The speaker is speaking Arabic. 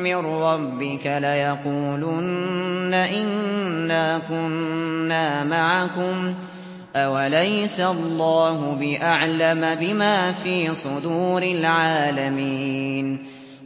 مِّن رَّبِّكَ لَيَقُولُنَّ إِنَّا كُنَّا مَعَكُمْ ۚ أَوَلَيْسَ اللَّهُ بِأَعْلَمَ بِمَا فِي صُدُورِ الْعَالَمِينَ